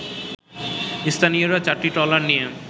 স্থানীয়রা চারটি ট্রলার নিয়ে